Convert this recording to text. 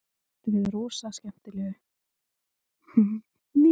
Ég býst við rosalega skemmtilegu Íslandsmóti.